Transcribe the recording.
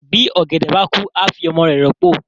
bi ògèdè bá kú a fí ọmọ rẹ ròpo.